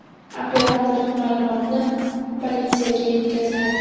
Operator ma’lumotni politsiyaga yetkazgan.